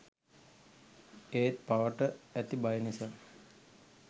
ඒත් පවට ඇති බය නිසා